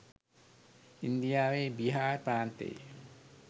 ඉන්දියාවේ බිහාර් ප්‍රාන්තයේ